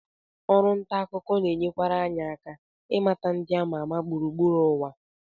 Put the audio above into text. Ọrụ nta akụkọ na-enyekwara anyị aka ịmata ndị ama ama gburugburu ụwa